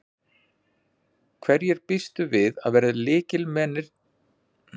Hverjir býstu við að verði lykilmenn í þínu liði í sumar?